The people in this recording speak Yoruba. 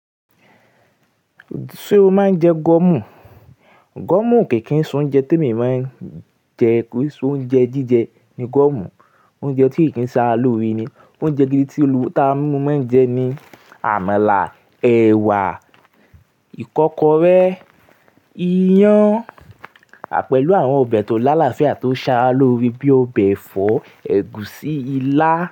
Ṣé o máa ń jẹ gọ̀mu? Gọ̀mu kìn-ín-ní se oúnjẹ tí èmi máa ń jẹ. Ko énṣe oúnjẹ jíjẹ ni gọ̀mu. Oúnjẹ tí kì í sá láloori ni. Oúnjẹ gidi tí mo ta mú máa ń jẹ ni àmàlà, ẹwà, ìkọ́kọrẹ́, iyán, à pẹ̀lú àwọn ọbẹ̀ tó lálàáfíà àti ó sárá lóore bíi ọbẹ̀ ẹ̀fọ́, ẹ̀gúsí, ilá.